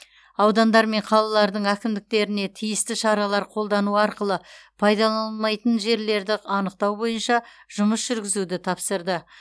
аудандар мен қалалардың әкімдеріне тиісті шаралар қолдану арқылы пайдаланылмайтын жерлерді анықтау бойынша жұмыс жүргізуді тапсырды